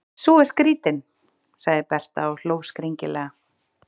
Sú er skrýtin, sagði Berta og hló skringilega.